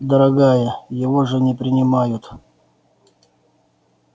дорогая его же не принимают